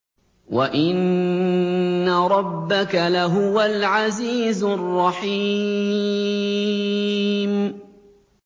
وَإِنَّ رَبَّكَ لَهُوَ الْعَزِيزُ الرَّحِيمُ